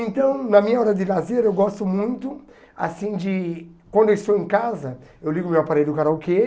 Então, na minha hora de lazer, eu gosto muito, assim, de... Quando eu estou em casa, eu ligo o meu aparelho do karaokê